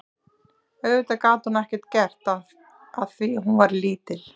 Auðvitað gat hún ekkert gert að því að hún væri lítil.